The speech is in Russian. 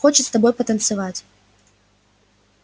хочет с тобой потанцевать